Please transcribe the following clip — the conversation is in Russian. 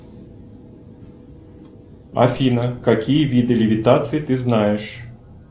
афина какие виды левитации ты знаешь